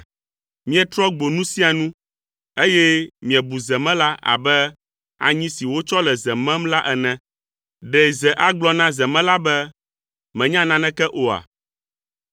Mietrɔ gbo nu sia nu, eye miebu zemela abe anyi si wòtsɔ le ze mem la ene! Ɖe ze agblɔ na zemela be. “Mènya naneke oa?”